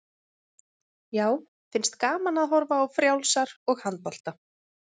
Já, finnst gaman að horfa á frjálsar og handbolta.